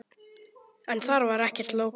En þar var ekkert lógó.